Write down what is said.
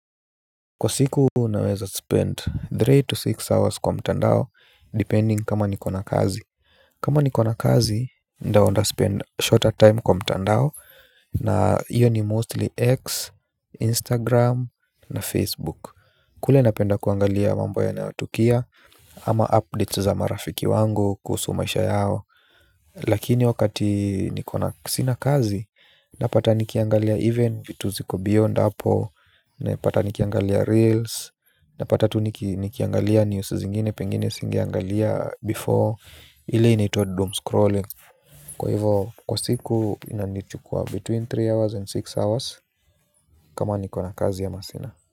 Kwa siku unaweza spend three to six hours kwa mtandao depending kama nikona kazi. Kama nikona kazi ndo spend shorter time kwa mtandao na iyo ni mostly x instagram na facebook. Kule napenda kuangalia mambo yanayotukia ama updates za marafiki wangu kuhusu maisha yao. Lakini wakati niko na sinakazi napata nikiangalia even vitu ziko beyond hapo. Napata nikiangalia reels. Napata tu nikiangalia news zingine. Pengine singiangalia before. Ile inaitwa doom scrolling. Kwa hivo kwa siku inanichukua between tatu hours and sita hours. Kama niko na kazi ama masina.